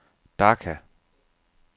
Dhaka